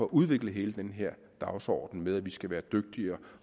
udvikle hele den her dagsorden med at vi skal være dygtigere